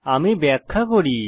আমি ব্যাখ্যা করি